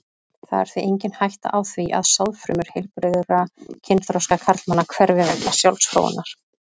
Það er því engin hætta á því að sáðfrumur heilbrigðra kynþroska karlmanna hverfi vegna sjálfsfróunar.